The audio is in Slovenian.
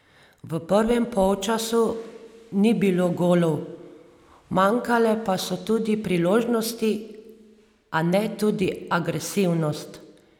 V prvem polčasu ni bilo golov, manjkale pa so tudi priložnosti, a ne tudi agresivnost.